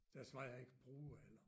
Der er så meget jeg ikke bruger heller